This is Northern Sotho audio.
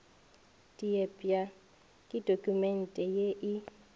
diepša ke dokumente ye e